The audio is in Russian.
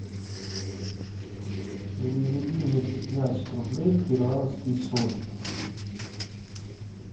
переведи мне пятнадцать рублей в перуанские соли